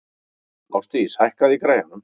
Ásdís, hækkaðu í græjunum.